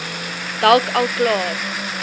dalk al klaar